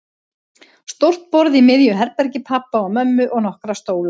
Stórt borð í miðju herbergi pabba og mömmu og nokkra stóla.